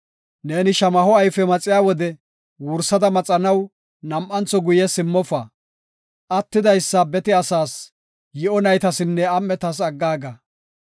Neeni shamaho ayfe maxiya wode wursada maxanaw nam7antho guye simmofa. Attidaysa bete asaas, yi7o naytasinne am7etas aggaaga.